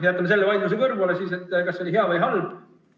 Jätame selle vaidluse kõrvale, kas see oli hea või halb.